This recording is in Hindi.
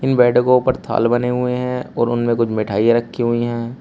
बैठको पर थाल बने हुए हैं और उनमें कुछ मिठाइयां रखी हुई है।